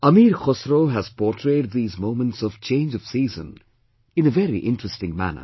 Amir Khusro has portrayed these moments of change of season in a very interesting manner